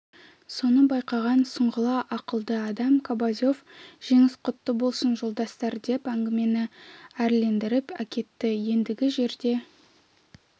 соны байқаған сұңғыла ақылды адам кобозев жеңіс құтты болсын жолдастар деп әңгімені әрлендіріп әкетті ендігі жерде